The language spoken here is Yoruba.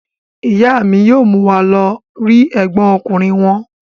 Ìyá mi yóò mú wa lọ rí ẹ̀gbọ́n ọkùnrin wọn.